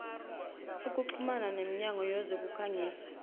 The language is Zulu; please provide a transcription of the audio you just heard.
ukuxhuma nemnyango wezokukhangisa